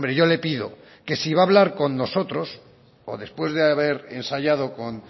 yo le pido que si va a hablar con nosotros o después de haber ensayado con